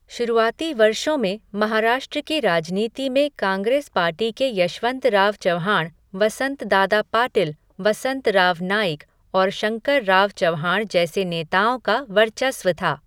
शुरूआती वर्षों में महाराष्ट्र की राजनीति में कांग्रेस पार्टी के यशवंतराव चव्हाण, वसंतदादा पाटिल, वसंतराव नाइक और शंकरराव चव्हाण जैसे नेताओं का वर्चस्व था।